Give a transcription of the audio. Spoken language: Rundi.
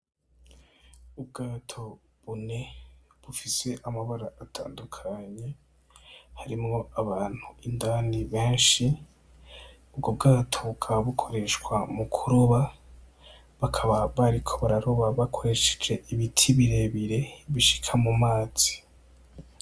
Ubwato bune bufise amabara atandukanye, harimwo abantu indani benshi ubwo bwato bukaba bukoreshwa mu kuroba bakaba bariko bararoba bakoreshe ibiti birebire bishika mumazi.